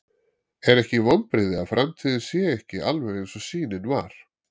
Er ekkert vonbrigði að framtíðin sé ekki alveg eins og sýnin var?